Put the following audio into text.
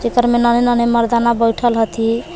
एकर में नन्हे नन्हे मर्दाना बैठल हथि।